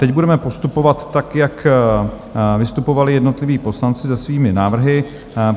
Teď budeme postupovat tak, jak vystupovali jednotliví poslanci se svými návrhy.